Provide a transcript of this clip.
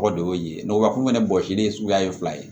O de y'o ye o b'a fɔ fɛnɛ bɔsilen suguya ye fila ye